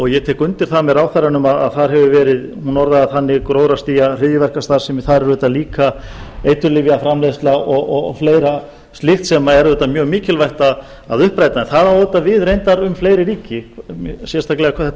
ég tek undir það með ráðherranum að þar hefur verið hún orðaði það þannig gróðrarstía hryðjuverkastarfsemi þar er auðvitað líka eiturlyfjaframleiðsla og fleira slíkt sem er auðvitað mjög mikilvægt að uppræta en það á auðvitað við reyndar um fleiri ríki sérstaklega hvað þetta